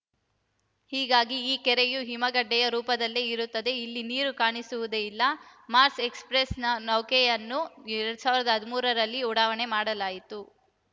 ಹೀಗಾಗಿ ಈ ಕೆರೆಯು ಹಿಮಗಡ್ಡೆಯ ರೂಪದಲ್ಲಿಯೇ ಇರುತ್ತದೆ ಇಲ್ಲಿ ನೀರು ಕಾಣಿಸುವುದೇ ಇಲ್ಲ ಮಾರ್ಸ್‌ ಎಕ್ಸ್‌ಪ್ರೆಸ್‌ ನೌಕೆಯನ್ನು ಎರಡ್ ಸಾವಿರದ ಹದಿಮೂರರಲ್ಲಿ ಉಡಾವಣೆ ಮಾಡಲಾಗಿತ್ತು